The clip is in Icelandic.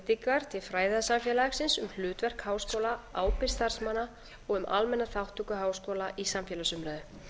ábendingar til fræðasamfélagsins um hlutverk háskóla ábyrgð starfsmanna og um almenna þátttöku háskóla í samfélagsumræðu